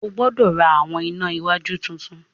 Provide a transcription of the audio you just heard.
O gbọdọ rá awọn ìnà iwájú títún?